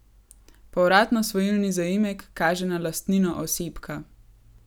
Povratno svojilni zaimek kaže na lastnino osebka.